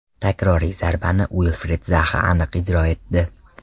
Takroriy zarbani Uilfrid Zaha aniq ijro etdi.